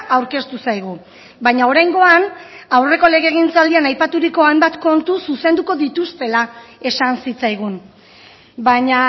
aurkeztu zaigu baina oraingoan aurreko legegintzaldian aipaturiko hainbat kontu zuzenduko dituztela esan zitzaigun baina